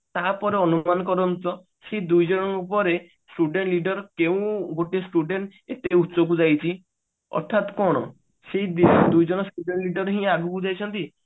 ତାହାପରେ ଅନୁକ୍ରମ କରନ୍ତି ତ ସେଇ ଦୁଇଜଣଙ୍କ ପରେ student leader କେଉଁ ଗୋଟେ student ଏତେ ଉଚ୍ଚକୁ ଯାଇଛି ଅର୍ଥାତ କଣ ସେଇ ଦୁଇଜଣ student leader ହିଁ ଆଗକୁ ଯାଇଛନ୍ତି